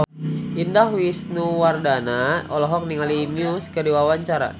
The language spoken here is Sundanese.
Indah Wisnuwardana olohok ningali Muse keur diwawancara